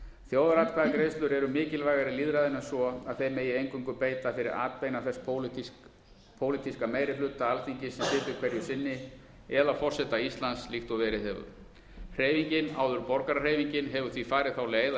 þjóðaratkvæðagreiðslur eru mikilvægari lýðræðinu en svo að þeim megi eingöngu beita fyrir atbeina þess pólitíska meiri hluta alþingis sem situr hverju sinni eða forseta íslands líkt og verið hefur hreyfingin hefur því farið þá leið að